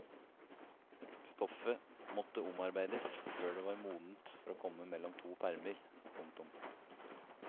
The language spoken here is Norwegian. Stoffet måtte omarbeides før det var modent for å komme mellom to permer. punktum